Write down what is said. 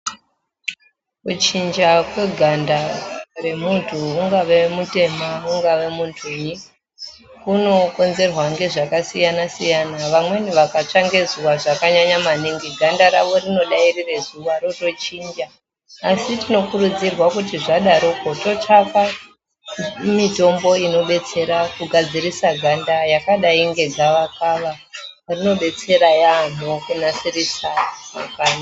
Kuchinja kweganda remunthu ungava mutema kana munthui, kunokonzerwa ngezvakasiyana siyana, vamweni vakatsve ngezuva zvakanyanya maningi ganda ravo rinodairira zuva rotochinja, asi tinokurudzirwa kuti zvadarokwo totsvake mitombo inodetsera kunasirise ganda yakadai nge gavakava rinodetsera yaamho kunasirisa ganda.